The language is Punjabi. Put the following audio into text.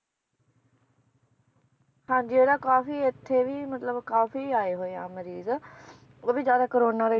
ਹਾਂਜੀ ਇਹਦਾ ਕਾਫੀ ਇਥੇ ਵੀ ਮਤਲਬ ਕਾਫੀ ਆਏ ਹੋਏ ਆ ਮਰੀਜ ਉਹ ਵੀ ਜ਼ਿਆਦਾ ਕੋਰੋਨਾ ਦਾ ਹੀ